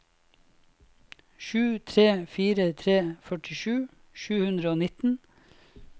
sju tre fire tre førtisju sju hundre og nitten